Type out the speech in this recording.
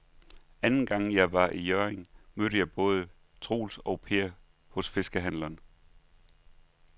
Anden gang jeg var i Hjørring, mødte jeg både Troels og Per hos fiskehandlerne.